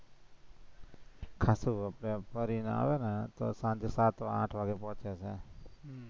ભરીને આવે ને તો સાંજે સાત-આઠ વાગે પોંચે